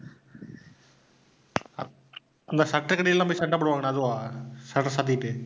அந்த shutter ருக்கு அடியில எல்லாம் போய் சண்டை போடுவாங்களே அதுவா? shutter சாத்திக்கிட்டு